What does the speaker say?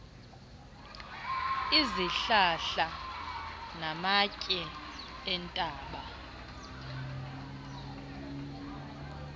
izihlahla namatye entaba